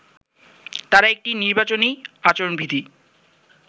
তারা একটি নির্বাচনী আচরণবিধি